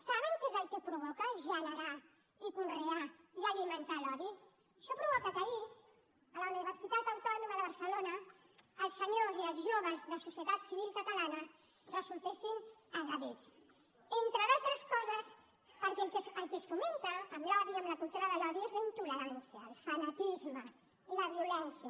saben què és el que provoca generar i conrear i alimentar l’odi això provoca que ahir a la universitat autònoma de barcelona els senyors i els joves de societat civil catalana resultessin agredits entre d’altres coses perquè el que es fomenta amb l’odi amb la cultura de l’odi és la intolerància el fanatisme la violència